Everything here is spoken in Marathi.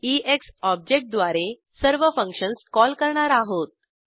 ईएक्स ऑब्जेक्ट द्वारे सर्व फंक्शन्स कॉल करणार आहोत